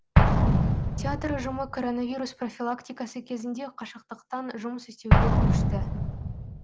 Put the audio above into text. театр ұжымы коронавирус профилактикасы кезінде қашықтықтан жұмыс істеуге көшті